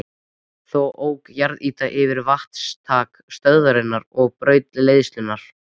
Þá ók jarðýta yfir vatnsinntak stöðvarinnar og braut leiðslurnar.